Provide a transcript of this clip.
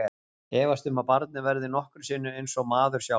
Efast um að barnið verði nokkru sinni eins og maður sjálfur.